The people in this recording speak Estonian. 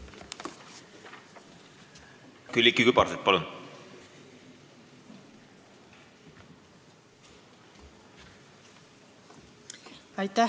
Külliki Kübarsepp, palun!